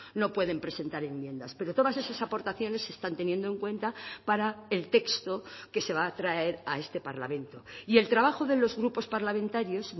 no pueden presentar enmiendas pero todas esas aportaciones se están teniendo en cuenta para el texto que se va a traer a este parlamento y el trabajo de los grupos parlamentarios